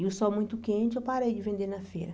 E o sol muito quente, eu parei de vender na feira.